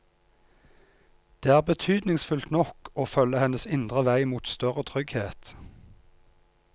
Det er betydningsfullt nok å følge hennes indre vei mot større trygghet.